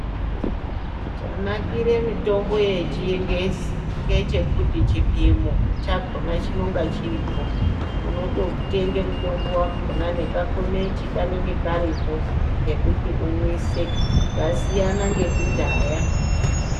Chanakire mitombo yechingezi ngechekuti chipimo chakona chinenge chiripo unototenga mutombo wakona nekakomechi kanonga karipo kekuti umwise zvasiyana nekudhaya .